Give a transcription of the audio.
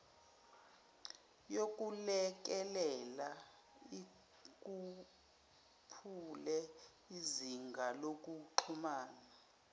yokulekelela ikhuphule izingalokuxhumana